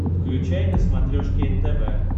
включай на смотрешке нтв